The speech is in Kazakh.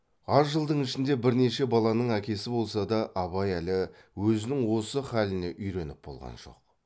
аз жылдың ішінде бірнеше баланың әкесі болса да абай әлі өзінің осы халіне үйреніп болған жоқ